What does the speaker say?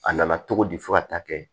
A nana cogo di fo ka taa kɛ